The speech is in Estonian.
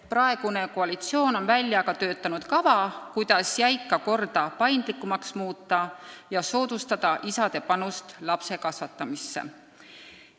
Praegune koalitsioon on välja töötanud kava, kuidas jäika korda paindlikumaks muuta ja soodustada isade suuremat panust laste kasvatamisse.